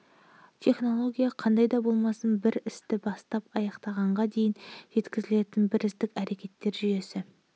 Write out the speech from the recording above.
технология-қандай да болмасын бір істі бастап аяқтағанға дейін жеткізетін бірізділік әрекеттер жүйесі